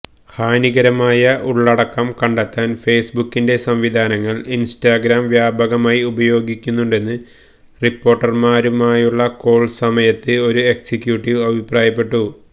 ഹാനികരമായ ഉള്ളടക്കം കണ്ടെത്താൻ ഫെയ്സ്ബുക്കിന്റെ സംവിധാനങ്ങൾ ഇൻസ്റ്റാഗ്രാം വ്യാപകമായി ഉപയോഗിക്കുന്നുണ്ടെന്ന് റിപ്പോർട്ടർമാരുമായുള്ള കോൾ സമയത്ത് ഒരു എക്സിക്യൂട്ടീവ് അഭിപ്രായപ്പെട്ടു